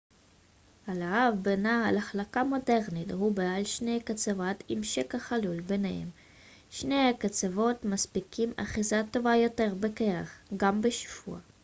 הלהב בנעל החלקה מודרנית הוא בעל שני קצוות עם שקע חלול בניהם שני הקצוות מספקים אחיזה טובה יותר בקרח גם בשיפוע